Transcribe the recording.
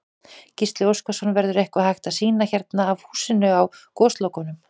Gísli Óskarsson: Verður eitthvað hægt að sýna hérna af húsinu á Goslokunum?